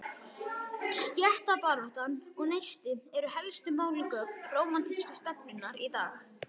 Stéttabaráttan og Neisti eru helstu málgögn rómantísku stefnunnar í dag.